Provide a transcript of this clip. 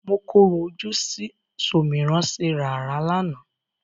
Mọ korò ojú sí ṣòmìrán-ṣerààrá lánàá.